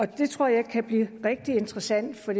det tror jeg kan blive rigtig interessant for